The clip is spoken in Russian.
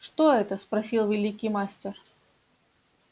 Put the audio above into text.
что это спросил великий мастер